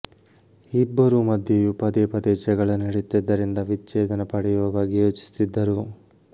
ಇಬ್ಬರೂ ಮಧ್ಯೆಯೂ ಪದೇ ಪದೇ ಜಗಳ ನಡೆಯುತ್ತಿದ್ದರಿಂದ ವಿಚ್ಛೇದನ ಪಡೆಯುವ ಬಗ್ಗೆ ಯೋಚಿಸುತ್ತಿದ್ದರು